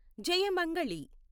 Jayamangali